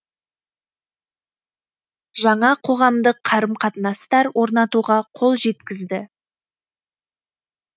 жаңа қоғамдық қарым қатынастар орнатуға қол жеткізді